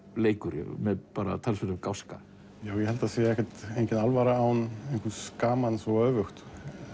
leikur með talsverðum gáska ég held það sé engin alvara án gamans og öfugt